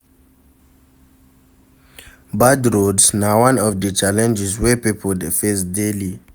Bad roads na one of the challenges wey pipo de face daily